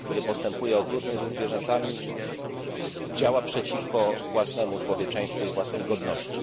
Człowiek, który postępuje okrutnie ze zwierzętami działa przeciwko własnemu człowieczeństwu i własnej godności.